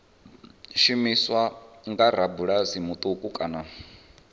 shumiswa nga rabulasi muṱuku kana